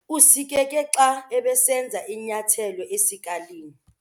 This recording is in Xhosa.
Usikeke xa ebesenza inyathelo esikalini.